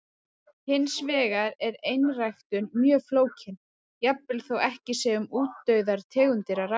Hins vegar er einræktun mjög flókin, jafnvel þó ekki sé um útdauðar tegundir að ræða.